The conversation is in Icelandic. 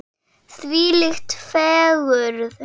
Þvílík fegurð!